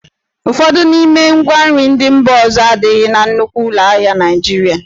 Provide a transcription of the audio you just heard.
Ụfọdụ n'ime ngwa nri ndị mba ọzọ adịghị na nnukwu ụlọ ahịa Naịjirịa.